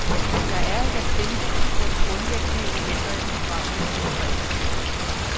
Der er et appendiks, hvor de grundlæggende elementer i programmet er beskrevet.